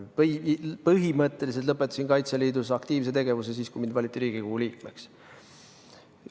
Ma põhimõtteliselt lõpetasin Kaitseliidus aktiivse tegevuse siis, kui mind valiti Riigikogu liikmeks.